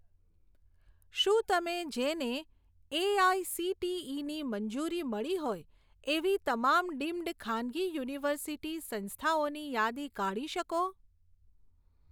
શું તમે જેને એઆઈસીટીઈની મંજૂરી મળી હોય એવી તમામ ડીમ્ડ ખાનગી યુનિવર્સિટી સંસ્થાઓની યાદી કાઢી શકો